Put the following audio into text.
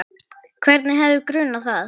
Hvern hefði grunað það?